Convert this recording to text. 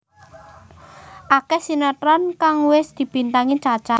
Akeh sinetron kang wis dibintangi Cha Cha